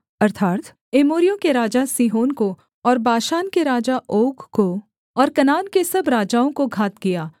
अर्थात् एमोरियों के राजा सीहोन को और बाशान के राजा ओग को और कनान के सब राजाओं को घात किया